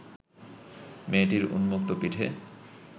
মেয়েটির উন্মুক্ত পিঠে